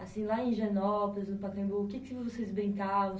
Assim, lá em Higienópolis, no Pacaembu, o que que vocês brincavam?